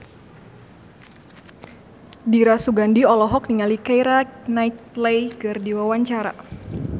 Dira Sugandi olohok ningali Keira Knightley keur diwawancara